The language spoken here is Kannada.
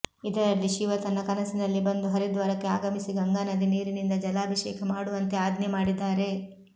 ಇದರಲ್ಲಿ ಶಿವ ತನ್ನ ಕನಸಿನಲ್ಲಿ ಬಂದು ಹರಿದ್ವಾರಕ್ಕೆ ಆಗಮಿಸಿ ಗಂಗಾನದಿ ನೀರಿನಿಂದ ಜಲಾಭಿಷೇಕ ಮಾಡುವಂತೆ ಆಜ್ಞೆ ಮಾಡಿದ್ದಾರೆ